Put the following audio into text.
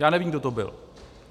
Já nevím, kdo to byl.